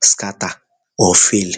scatter or fail